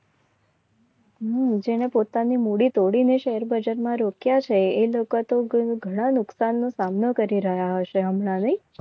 હમ જેને પોતાની મૂડી તોડીને શેરબજારમાં રોક્યા છે ઘણા નુકસાનનું સામનો કરી રહ્યા હશે હમણાં નહિ.